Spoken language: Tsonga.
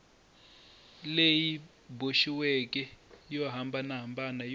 leyi boxiweke yo hambanahambana yo